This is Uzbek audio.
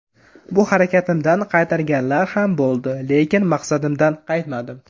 Bu harakatimdan qaytarganlar ham bo‘ldi, lekin maqsadimdan qaytmadim.